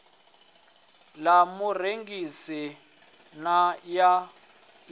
ḽa murengisi na ya ḽi